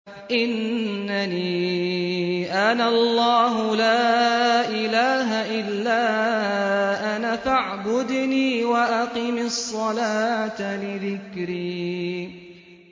إِنَّنِي أَنَا اللَّهُ لَا إِلَٰهَ إِلَّا أَنَا فَاعْبُدْنِي وَأَقِمِ الصَّلَاةَ لِذِكْرِي